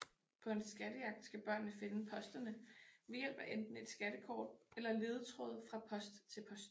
På en skattejagt skal børnene finde posterne ved hjælp af enten et skattekort eller ledetråde fra post til post